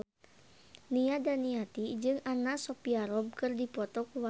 Nia Daniati jeung Anna Sophia Robb keur dipoto ku wartawan